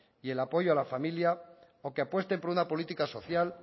y el apoyo a la familia o que apuesten por una política social